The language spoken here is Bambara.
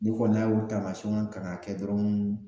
N'i kɔni n'a y'o taamasiɲɛnw ka na kɛ dɔrɔn